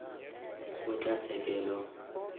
kgotlatshekelo